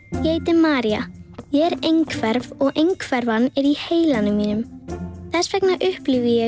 María ég er einhverf og einhverfan er í heilanum mínum þess vegna upplifi ég